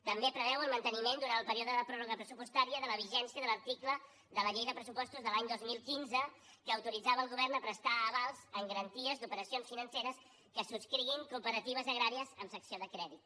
també preveu el manteniment durant el període de pròrroga pressupostària de la vigència de l’article de la llei de pressupostos de l’any dos mil quinze que autoritzava el govern a prestar avals amb garanties d’operacions financeres que subscriguin cooperatives agràries amb secció de crèdit